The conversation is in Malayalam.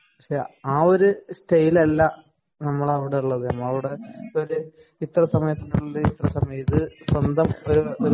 പക്ഷേ എഅ ഒരു സ്റ്റൈൽ അല്ല നമ്മളെ ഇവിടെ ഉള്ളത്. നമ്മള് ഇവിടെ ഇത്ര സമയത്തിനുള്ളില് ഇത്ര സമയം അത് സ്വന്തം ഒരു